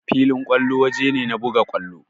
Filin kwallo waje ne na buga kwallo.